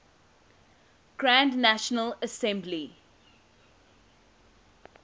grand national assembly